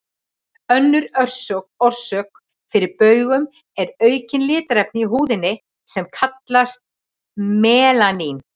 Önnur orsök fyrir baugum er aukið litarefni í húðinni, sem kallast melanín.